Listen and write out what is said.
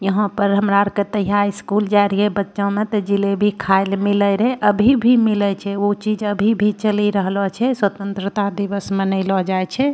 यहां पर हमरा आर के तहिया स्कूल जाय रीहे बच्चो में ते जिलेबी खाय ले मिले रहे अभी भी मिले छै ऊ चीज अभी भी चेल रहलो छै स्वतन्त्रता दिवस मनेलो जाय छै।